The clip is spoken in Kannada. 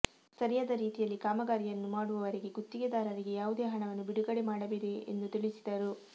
ಸರಿ ಯಾದ ರೀತಿಯಲ್ಲಿ ಕಾಮಗಾರಿಯನ್ನು ಮಾಡುವವರೆಗೆ ಗುತ್ತಿಗೆದಾರರಿಗೆ ಯಾವುದೇ ಹಣವನ್ನು ಬಿಡುಗಡೆ ಮಾಡಬೇಡಿ ಎಂದು ತಿಳಿಸಿದರು